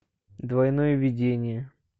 двойное видение